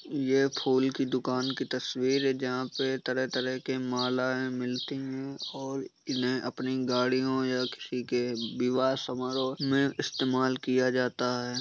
ये फूल की दुकान की तस्वीर है। जहाँ पे तरह-तरह की मालाए मिलती हैं और इन्हे अपनी गाड़ियों या किसी के विवाह समारोह में इस्तमाल किया जाता है।